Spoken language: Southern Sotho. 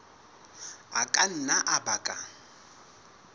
a ka nna a baka